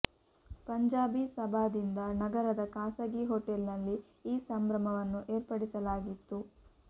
ಪಂಜಾಬಿ ಸಭಾದಿಂದ ನಗರದ ಖಾಸಗಿ ಹೋಟೆಲ್ ನಲ್ಲಿ ಈ ಸಂಭ್ರಮವನ್ನು ಏರ್ಪಡಿಸಲಾಗಿತ್ತು